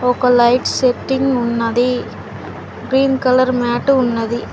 ఒక light setting ఉన్నది green colour mat ఉన్నది.